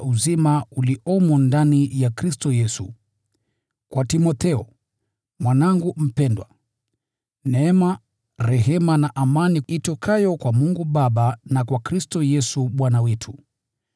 Kwa Timotheo, mwanangu mpendwa: Neema, rehema na amani itokayo kwa Mungu Baba, na kwa Kristo Yesu Bwana wetu.